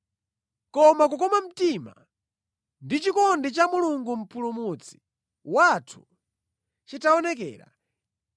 Koma kukoma mtima ndi chikondi cha Mulungu Mpulumutsi wathu chitaonekera,